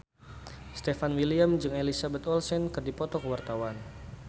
Stefan William jeung Elizabeth Olsen keur dipoto ku wartawan